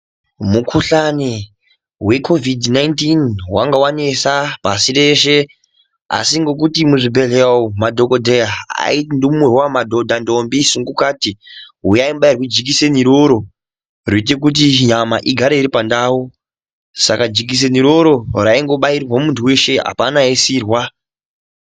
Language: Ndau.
Mukhuhlani wekovhidhi nainitini wange wanesa pasi reshe asi ngokuti muzvibhehleya umu madhokodheya aiti ndumurwa, madhodha, ndombi sungukati huyai mubairwe jikiseni iroro rinoita kuti nyama igare iri pandau, Saka jikiseni iroro raibairwa muntu weshe apana aisirwa.